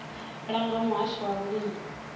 langwa nga muhasho wa vhulimi